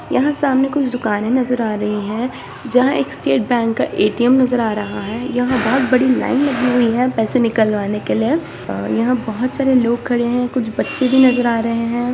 यहाँ सामने कुछ दुकाने नज़र आ रही है जहां एक स्टेट बैंक का ए.टी.एम. नज़र आ रहा है यहां बहुत बड़ी लाइन लगी हुई है पैसे निकलवाने के लिए और यहाँ बहुत सारे लोग खड़े है कुछ बच्चे भी नज़र आ रहे है।